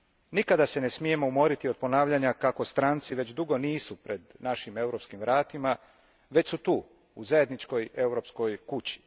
Nikada se ne smijemo umoriti od ponavljanja kako stranci već dugo nisu pred našim europskim vratima, već su tu u zajedničkoj europskoj kući.